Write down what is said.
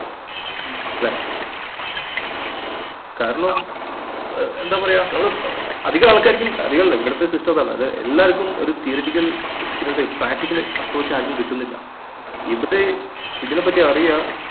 ല്ലേ കാരണം ഏർ എന്താ പറയാ ഏർ അധികം ആൾക്കാർക്കും അധികല്ല ഇവിടുത്തെ system അതാണ്. അത് എല്ലാവർക്കും ഒരു theoretical experience ഏ practical approach ആരിക്കും കിട്ടുന്നില്ല ഇവര്ഇ തിനെപ്പറ്റി അറിയ ഏർ